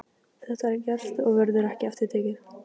Þetta er gert og verður ekki aftur tekið.